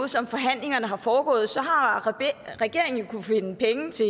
som forhandlingerne har foregået har regeringen jo kunnet finde penge til